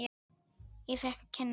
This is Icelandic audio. Ég fékk að kynnast því.